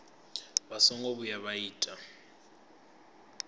vha songo vhuya vha ita